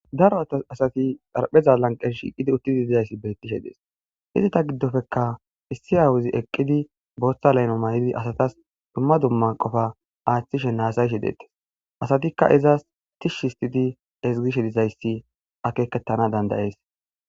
daro attas asati dharpheza lanqes shiqidi uttidi dizayssi beettishe dees izita giddofekka issi awuzi eqqidi booththa layno may7idi asatas dumma dumma qofa aaththishe naasayshe deettes asatikka izaas tishsh histidi ezgishe dizayssi akekettana dandayees